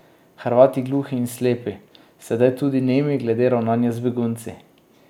Hrvati gluhi in slepi, sedaj tudi nemi glede ravnanja z begunci.